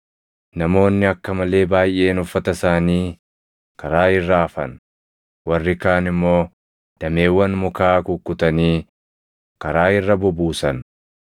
Namoonni akka malee baayʼeen uffata isaanii karaa irra afan; warri kaan immoo dameewwan mukaa kukkutanii karaa irra bubuusan.